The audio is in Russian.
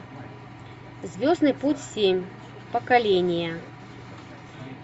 звездный путь семь поколение